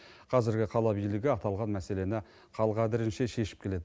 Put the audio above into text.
қазіргі қала билігі аталған мәселені қал қадірінше шешіп келеді